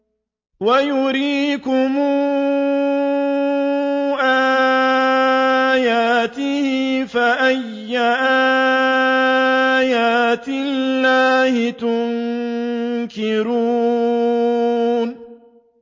وَيُرِيكُمْ آيَاتِهِ فَأَيَّ آيَاتِ اللَّهِ تُنكِرُونَ